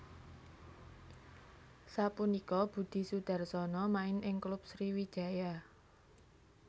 Sapunika Budi Sudarsono main ing klub Sriwijaya